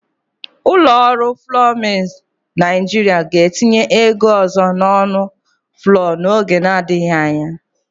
Ụlọ ọrụ flọọ Milz Naịjịrịa ga-etinye ego ọzọ n'ọnụ flọọ n'oge na-adigji anya.